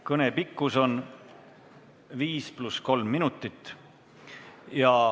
Kõne pikkus on 5 + 3 minutit.